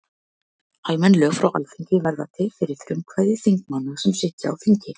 Almenn lög frá Alþingi verða til fyrir frumkvæði þingmanna sem sitja á þingi.